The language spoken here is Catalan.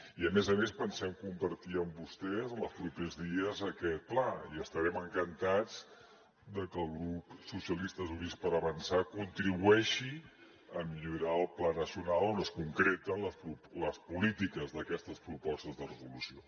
i a més a més pensem compartir amb vostès en els propers dies aquest pla i estarem encantats de que el grup socialistes i units per avançar contribueixi a millorar el pla nacional on es concreten les polítiques d’aquestes propostes de resolució